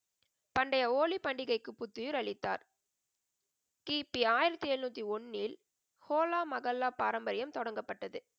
பண்டைய ஹோலி பண்டிகைக்கு புத்துயிர் அளித்தார். கி. பி ஆயிரத்தி எழுநூத்தி ஒன்னில், ஹோலா மகல்லா பாரம்பரியம் தொடங்கப்பட்டது.